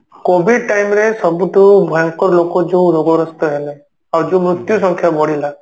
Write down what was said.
COVID time ରେ ସବୁଠୁ ଭୟଙ୍କର ଲୋକ ଯଉ ରୋଗଗ୍ରସ୍ତ ହେଲେ ଆଉ ଯଉ ମୃତ୍ୟୁ ସଂଖ୍ୟା ବଢିଲା